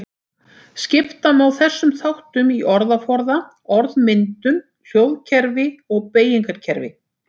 Skipta má þessum þáttum í orðaforða, orðmyndun, hljóðkerfi og beygingarkerfi.